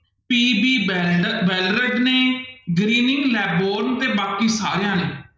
PB banner Ballarat ਨੇ, greening ਲੈਬੋਨ ਤੇ ਬਾਕੀ ਸਾਰਿਆਂ ਨੇ।